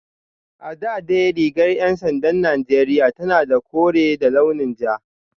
A da dai rigar ‘yan sandan Najeriya tana da kore da launin toka